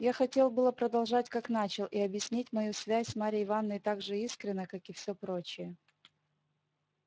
я хотел было продолжать как начал и объяснить мою связь с марьей ивановной так же искренно как и всё прочее